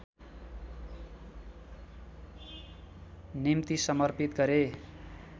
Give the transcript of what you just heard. निम्ति समर्पित गरे